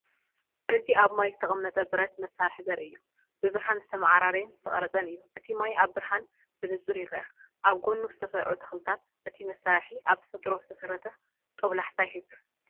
እዚ ኣብ ማይ ዝተቐመጠ ብረት መሳርሒ ዘርኢ እዩ። ብብርሃን ዝተመዓራረየን ዝተቐርጸን እዩ። እቲ ማይ ኣብ ብርሃን ብንጹር ይርአ፡ ኣብ ጎድኑ ዝተሰርዑ ተኽልታት። እቲ መሳርሒ ኣብ ተፈጥሮ ዝተሰረተ ጦብላሕታ ይህብ።